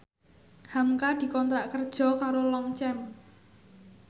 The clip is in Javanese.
hamka dikontrak kerja karo Longchamp